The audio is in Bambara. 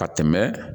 Ka tɛmɛ